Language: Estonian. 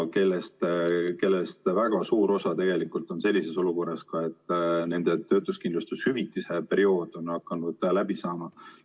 Neist väga suur osa on sellises olukorras, et nende töötuskindlustushüvitise periood on hakanud läbi saama.